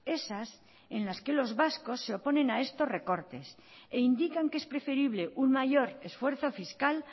esas en las que los vascos se oponen a esos recortes e indican que es preferible un mayor esfuerzo fiscal